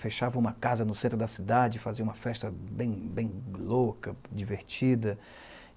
Fechava uma casa no centro da cidade e fazia uma festa bem bem louca, divertida.